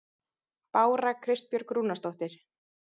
Bára Kristbjörg Rúnarsdóttir